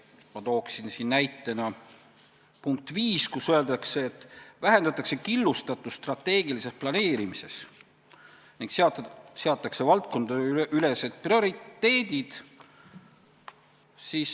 Ma tooksin siin näitena punkti 5, kus öeldakse, et vähendatakse killustatust strateegilises planeerimises ning seatakse valdkondadeülesed prioriteedid.